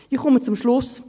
Ich komme zum Schluss.